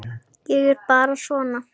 Ég er bara svona.